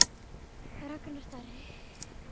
Ragnar Darri.